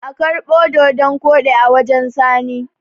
a karbi dodon Kodi a wajen sani!